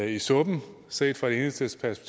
i suppen set fra enhedslistens